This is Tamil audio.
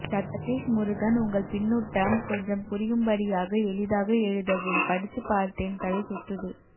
சதீஷ் முருகன் உங்கள் பின்னுட்டம் கொஞ்சம் புரியும்படியாக எளிதாக எழுதவும் படிச்சு பார்த்தேன் தலை சுத்துது